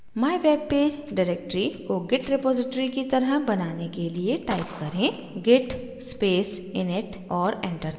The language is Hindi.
mywebpage directory को git repository की तरह बनाने के लिए type करें: git space init और enter दबाएँ